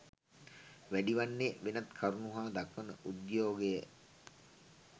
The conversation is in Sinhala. වැඩි වන්නේ වෙනත් කරුණු හා දක්වන උද්‍යයෝගය